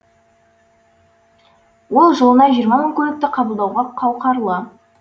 ол жылына жиырма мың көлікті қабылдауға қауқарлы